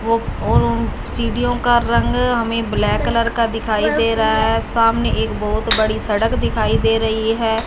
ओ सीडीओ का रंग हमें ब्लैक कलर का दिखाई दे रहा है सामने एक बहोत बड़ी सड़क दिखाई दे रही है।